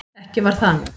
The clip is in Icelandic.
Ekki var það nú.